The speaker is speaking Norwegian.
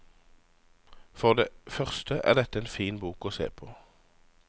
For det første er dette en fin bok å se på.